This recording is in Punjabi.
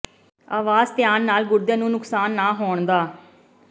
ਆਵਾਸ ਧਿਆਨ ਨਾਲ ਗੁਰਦੇ ਨੂੰ ਨੁਕਸਾਨ ਨਾ ਹੋਣ ਦਾ